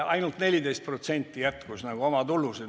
Ainult 14% jätkus oma tulusid.